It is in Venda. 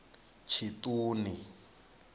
tshiṱuni